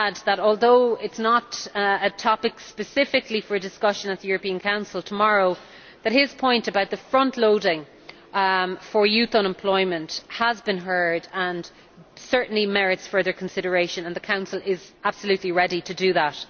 I might add that, although it is not a topic specifically for discussion at the European Council tomorrow, his point about the front loading for youth unemployment has been heard and certainly merits further consideration, and the Council is absolutely ready to do that.